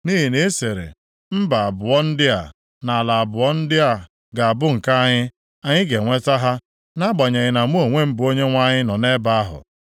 “ ‘Nʼihi na ị sịrị, “Mba abụọ ndị a, na ala abụọ ndị a ga-abụ nke anyị, anyị ga-enweta ha,” nʼagbanyeghị na mụ onwe m bụ Onyenwe anyị nọ nʼebe ahụ.